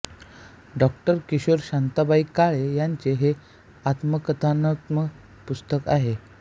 डॉ किशोर शांताबाई काळे यांचे हे आत्मकथनात्मक पुस्तक आहे